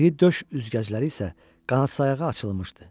İri döş üzgəcləri isə qanadsayağı açılmışdı.